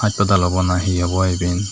hospital obo na he obo iben.